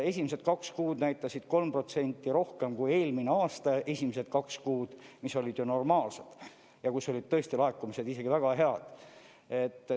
Esimesed kaks kuud näitasid 3% rohkem kui eelmise aasta esimesed kaks kuud, mis olid ju normaalsed ja kus olid tõesti laekumised väga head.